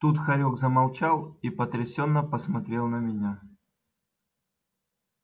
тут хорёк замолчал и потрясённо посмотрел на меня